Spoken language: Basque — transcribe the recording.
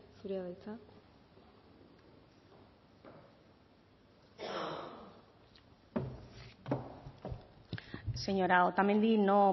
zurea da hitza señora otamendi no